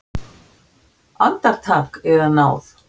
Andartak, yðar náð!